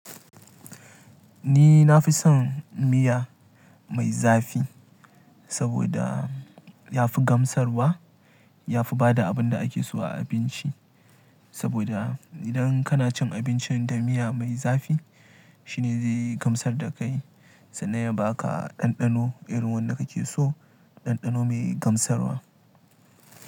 Ni na fi son miya mai zafi saboda ya fi gamsarwa, ya fi bada abin da ake so a abinci. Saboda idan kana cin abinci da miya mai zafi shine zai gamsar da kai sannan ya baka ɗanɗano irin wanda kake so, ɗanɗano mai gamsarwa.